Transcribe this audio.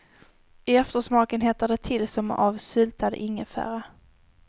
I eftersmaken hettar det till som av syltad ingefära.